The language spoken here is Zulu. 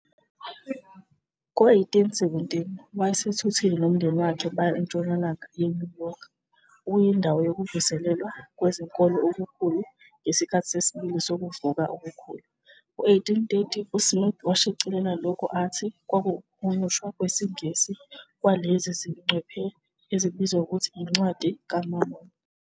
Ngo-1817, wayesethuthele nomndeni wakhe baya entshonalanga yeNew York, okuyindawo yokuvuselelwa kwezenkolo okukhulu ngesikhathi sesibili sokuvuka okukhulu. Ngo-1830, uSmith washicilela lokho athi kwakuwukuhunyushwa kwesiNgisi kwalezi zingcwephe ezibizwa ngokuthi yiNcwadi kaMormoni.